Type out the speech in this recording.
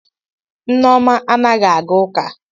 Nneoma anaghi aga uka